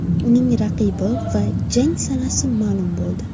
Uning raqibi va jangi sanasi ma’lum bo‘ldi.